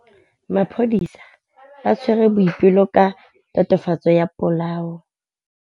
Maphodisa a tshwere Boipelo ka tatofatsô ya polaô.